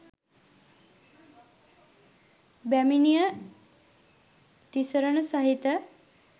බැමිණිය තිසරණ සහිත